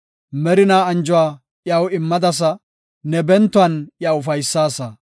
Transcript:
Merinaa anjuwa iyaw immadasa; ne bentuwan iya ufaysaasa.